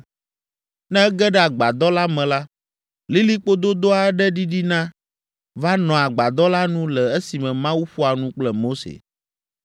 Ne ege ɖe agbadɔ la me la, lilikpo dodo aɖe ɖiɖina va nɔa agbadɔ la nu le esime Mawu ƒoa nu kple Mose.